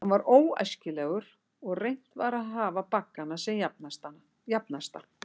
Hann var óæskilegur, og reynt var að hafa baggana sem jafnasta.